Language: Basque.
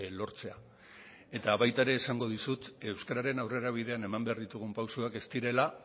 lortzea eta baita ere esango dizut euskararen aurrerabidean eman behar ditugun pausoak ez direla